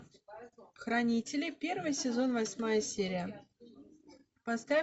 хранители первый сезон восьмая серия поставь